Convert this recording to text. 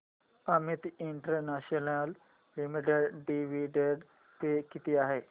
Amit international limited dividend pay किती आहे